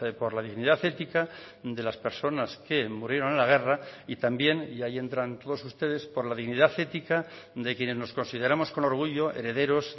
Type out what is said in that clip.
por la dignidad ética de las personas que murieron en la guerra y también y ahí entran todos ustedes por la dignidad ética de quienes nos consideramos con orgullo herederos